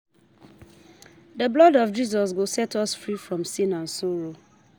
The blood of Jesus go set us free from sin and sorrow